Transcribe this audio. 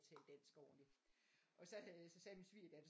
At tale dansk ordentligt og så havde så sagde min svigerdatter